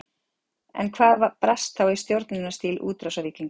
En hvað brast þá í stjórnunarstíl útrásarvíkinganna?